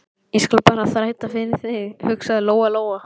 Ég skal bara þræta fyrir það, hugsaði Lóa Lóa.